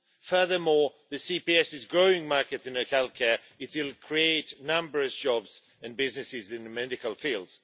Furthermore, CPS is a growing market in healthcare, and will create numerous jobs and businesses in the medical field.